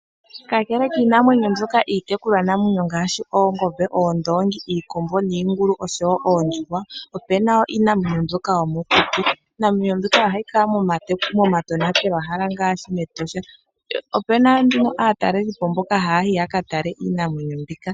Kakele kiinamwenyo mbyoka iitekulwanamwenyo ngashi oongombe, oondongi, iikombo, niingulu oshowo oondjuhwa opena wo iinamwenyo mbyoka yomokuti. Iinamwenyo mbyoka ohayi kala momatonatelo hala ngashi mEtosha, opuna nduno aatalelipo mboka haya yi yaka tale iinamwenyo mbika.